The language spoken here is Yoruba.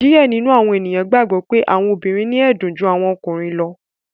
Diẹ nínú àwọn ènìyàn gbàgbó pe àwọn obìrin ni ẹdun jù àwọn ọkùnrin lọ.